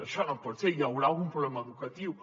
això no pot ser hi deu haver algun problema educatiu